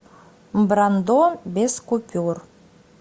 брандо без купюр